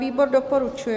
Výbor doporučuje.